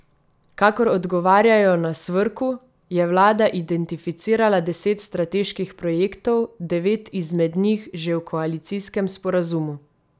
Kakor odgovarjajo na Svrku, je vlada identificirala deset strateških projektov, devet izmed njih že v koalicijskem sporazumu.